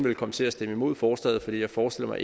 vil komme til at stemme imod forslaget for jeg forestiller